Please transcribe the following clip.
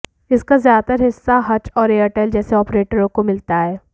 इसका ज्यादातर हिस्सा हच और एयरटेल जैसे ऑपरेटरों को मिलता है